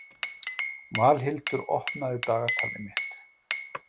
Valhildur, opnaðu dagatalið mitt.